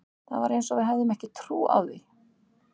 Það var eins og við hefðum ekki trú á því.